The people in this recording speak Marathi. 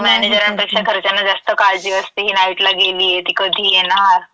हम्म. जे तुमचे मॅनेजरांपेक्षा घरच्यांना जास्त काळजी असती, ही नाईटला गेलीये, ती कधी येणार?